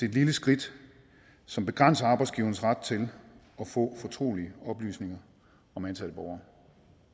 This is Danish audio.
et lille skridt som begrænser arbejdsgiverens ret til at få fortrolige oplysninger om ansatte borgere